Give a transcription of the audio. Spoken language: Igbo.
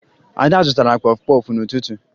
Ada zụtara kpọfụ kpọfụ n'ụtụtụ